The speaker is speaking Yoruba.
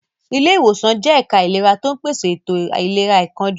Ilé ìwòsàn jẹ́ ẹ̀ka ìlera tó ń pèsè ètò ìlera àìkánjú.